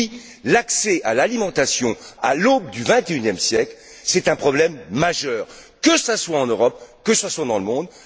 Oui, l'accès à l'alimentation, à l'aube du vingt et unième siècle, est un problème majeur, que ce soit en Europe ou dans le reste du monde.